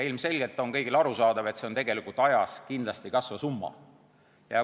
Ilmselgelt on kõigile arusaadav, et see on ajas kindlasti kasvav summa.